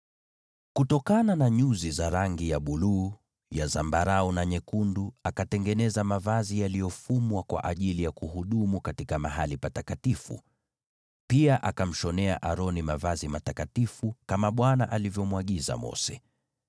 Kutokana na nyuzi za rangi ya buluu, ya zambarau na nyekundu akatengeneza mavazi yaliyofumwa kwa ajili ya kuhudumu katika mahali patakatifu. Pia akamshonea Aroni mavazi matakatifu, kama Bwana alivyomwagiza Mose.